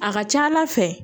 A ka ca ala fɛ